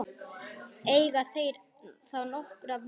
Eiga þeir þá nokkra von.